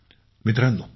धन्यवाद विजयशांती